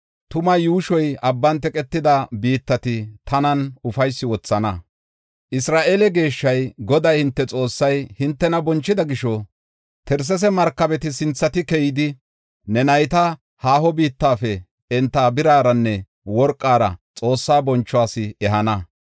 Tuma yuushoy abban teqetida biittati, tanan ufaysi wothana; Isra7eele geeshshay, Goday hinte Xoossay, hintena bonchida gisho, Tarsesa markabeti sinthati keyidi, ne nayta haaho biittafe enta biraranne worqara Xoossaa bonchuwas ehana.